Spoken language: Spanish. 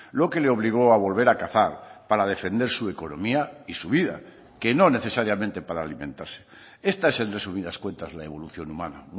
lo que le obligó a volver a cazar para defender su economía y su vida que no necesariamente para alimentarse esta es en resumidas cuentas la evolución humana